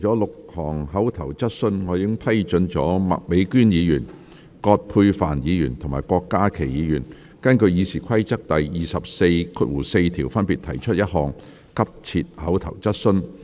今次會議除了6項口頭質詢，我已批准麥美娟議員、葛珮帆議員及郭家麒議員根據《議事規則》第244條，分別提出一項急切口頭質詢。